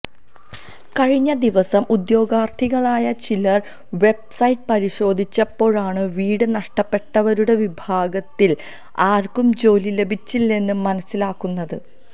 കഴിഞ്ഞദിവസം ഉദ്യോഗാര്ത്ഥികളായ ചിലര് വെബ് സൈറ്റ് പരിശോധിച്ചപ്പോഴാണ് വീട് നഷ്ടപ്പെട്ടവരുടെ വിഭാഗത്തില് ആര്ക്കും ജോലി ലഭിച്ചില്ലെന്ന് മനസ്സിലാകുന്നത്